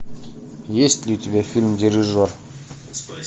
есть ли у тебя фильм дирижер